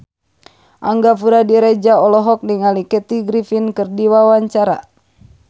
Angga Puradiredja olohok ningali Kathy Griffin keur diwawancara